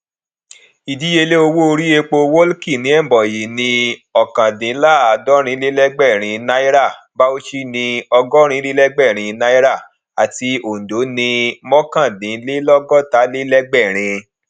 ìdíyelé owó orí epo wọłki ní ebonyi ní ọkàndinlaadorinlelegberin náírà bauchi ni ọgọrinlelegberin náírà àti ondo ní náírà mokandinlogotalelegberin